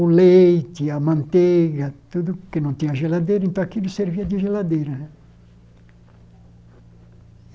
o leite, a manteiga, tudo que não tinha geladeira, então aquilo servia de geladeira né.